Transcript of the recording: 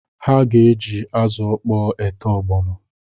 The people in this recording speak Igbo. Ha ga-eji azụ ọkpọ ete ọgbọnọ